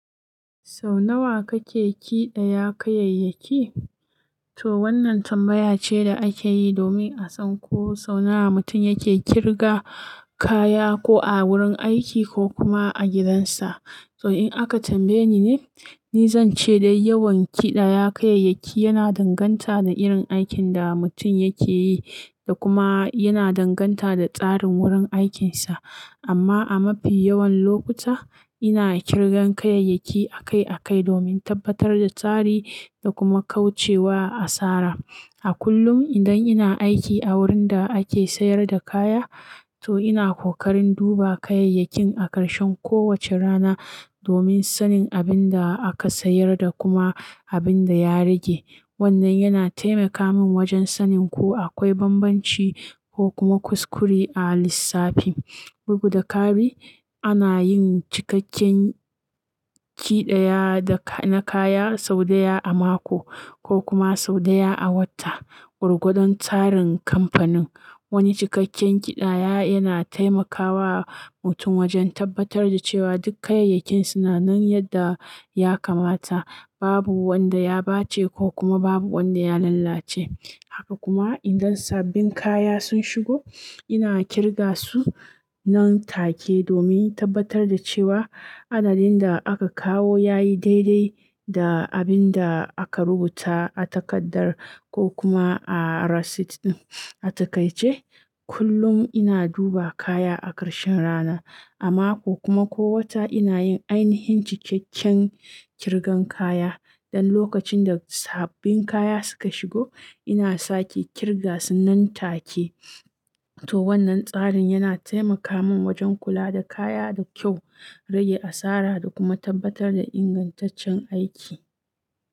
Sau nawa kake ƙi daya kayayyaki? To wannan tambaya ce da ake yi domin a san ko sau nawa mutum yake ƙirga kaya ko a wurin aiki ko kuma a gidansa. To in aka tambaye ni ne, ni zan ce dai yawan kiɗaya kayayyaki yana danganta da irin aikin da mutum yake yi da kuma yana danganta da tsarin wurin aikinsa. Amma a mafi yawan lokuta, ina ƙirgan kayayyaki akai-akai domin tabbatar da tsari da kuma kauce wa asara. A kullum idan ina aiki a wurin da ake sayar da kaya, to ina kokarin duba kayayyakin a karshen kowace rana domin sanin abin da aka sayar da kuma abin da ya rage. Wannnan yana taimaka mun wajen sanin ko akwai bambanci ko kuma kuskure a lissafi. Bugu da kari, ana yin cikakken kiɗaya da ka-- na kaya sau ɗaya a mako ko kuma sau ɗaya a wata, gwar gwadon tsarin kamfanin. Wani cikakken kidaya yana tai ma kawa mutun wajen tabbatar da cewa duk kayayyakin suna nan yadda ya kamata babu wanda ya bace ko kuma babu wanda ya lalace haka kuma idan sabbin kaya sun shigo ina kirgasu nan take domin tabbatar da cewa adadin da aka kawo yayi dai dai da abin da aka rubuta a takardar ko kuma a rasit din a taƙai ce kullum ina duba kaya a karshen rana. A mako kuma ko wata ina yin ainihin cikakken ƙirgan kaya. Dan lokacin da sabbin kaya suka shigo, ina sake ƙirga su nan take. To wannan tsarin yana taimaka min wajen kula da kaya da kyau, rage asara da kuma tabbatar da ingantaccen aiki.